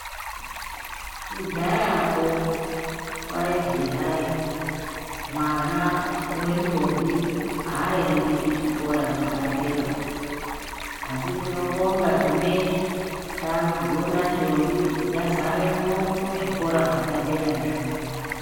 Kudhayakwo kwaizi hayi mwana wendombi aendi kuchikora chepadera asi tinobonga zvinezvi takudziona ndombi dzazaremwo muzvikora zvepaderazvo.